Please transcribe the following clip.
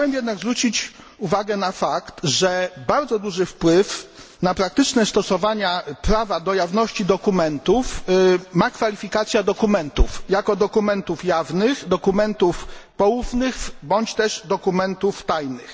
Chciałem jednak zwrócić uwagę na fakt, że bardzo duży wpływ na praktyczne stosowanie prawa do jawności dokumentów ma kwalifikacja dokumentów jako dokumentów jawnych, dokumentów poufnych, bądź też dokumentów tajnych.